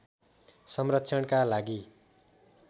संरक्षणका लागि